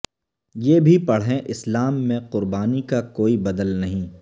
یہ بھی پڑھیں اسلام میں قربانی کا کوئی بدل نہیں